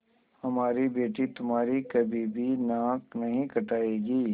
हमारी बेटी तुम्हारी कभी भी नाक नहीं कटायेगी